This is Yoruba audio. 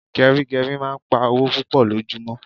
Gerigeri máa ń pá owó púpò lojumo